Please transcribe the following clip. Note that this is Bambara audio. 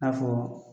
I n'a fɔ